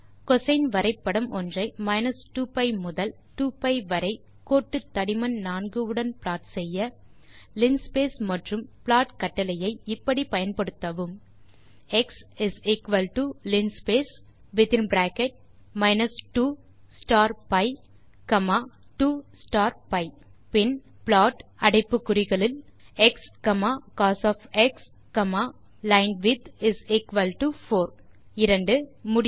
கோசின் வரைபடம் ஒன்றை 2pi முதல் 2பி வரை கோட்டுத்தடிமன் 4 உடன் ப்ளாட் செய்ய லின்ஸ்பேஸ் மற்றும் ப்ளாட் கட்டளையை இப்படி பயன்படுத்தவும் எக்ஸ் linspace 2பி 2பி பின் plotஎக்ஸ் கோஸ் லைன்விட்த்4 இரண்டாவது கேள்விக்கு பதில் முடியாது